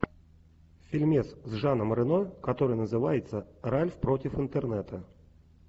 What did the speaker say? фильмец с жаном рено который называется ральф против интернета